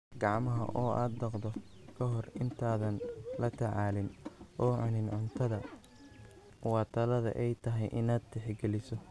Gacmaha oo aad dhaqdo ka hor intaadan la tacaalin oo cunin cuntada waa talada ay tahay inaad tixgeliso.